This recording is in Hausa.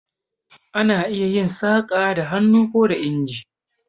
Ana iya yin saƙa da hannu ko da inji.